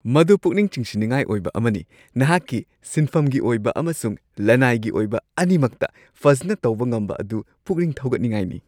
ꯃꯗꯨ ꯄꯨꯛꯅꯤꯡ ꯆꯤꯡꯁꯤꯟꯅꯤꯡꯉꯥꯏ ꯑꯣꯏꯕ ꯑꯃꯅꯤ ꯫ ꯅꯍꯥꯛꯀꯤ ꯁꯤꯟꯐꯝꯒꯤ ꯑꯣꯏꯕ ꯑꯃꯁꯨꯡ ꯂꯅꯥꯏꯒꯤ ꯑꯣꯏꯕ ꯑꯅꯤꯃꯛꯇ ꯐꯖꯅ ꯇꯧꯕ ꯉꯝꯕ ꯑꯗꯨ ꯄꯨꯛꯅꯤꯡ ꯊꯧꯒꯠꯅꯤꯡꯉꯥꯏꯅꯤ ꯫